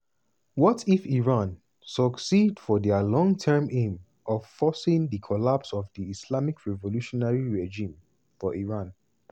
what if israel succeed for dia long term aim of forcing di collapse of di islamic revolutionary regime for iran?